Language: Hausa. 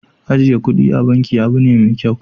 Ajiye kuɗi a banki abu ne mai kyau.